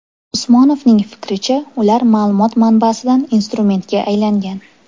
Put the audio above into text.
Usmonovning fikricha, ular ma’lumot manbasidan instrumentga aylangan.